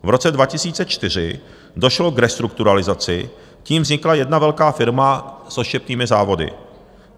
V roce 2004 došlo k restrukturalizaci, tím vznikla jedna velká firma s odštěpnými závody.